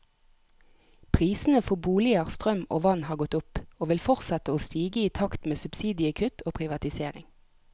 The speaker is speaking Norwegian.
Prisene for boliger, strøm og vann har gått opp, og vil fortsette å stige i takt med subsidiekutt og privatisering.